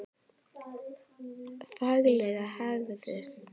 Fagleg hegðun.